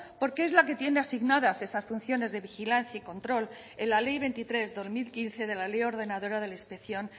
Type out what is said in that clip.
porque es la que tiene asignadas esas funciones de vigilancia y control en la ley veintitrés barra dos mil quince de la ley ordenadora de la inspección